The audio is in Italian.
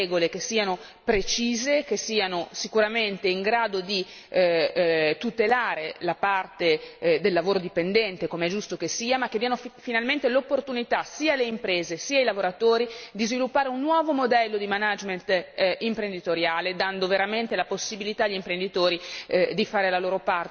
Dobbiamo trovare delle regole che siano precise, che siano sicuramente in grado di tutelare la parte del lavoro dipendente, come è giusto che sia, ma che diano finalmente l'opportunità sia alle imprese sia ai lavoratori di sviluppare un nuovo modello di management imprenditoriale, dando veramente la possibilità agli imprenditori